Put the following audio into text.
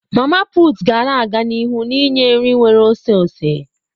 Mama putu ga na-aga n'ihu ninye nri nwere oseose.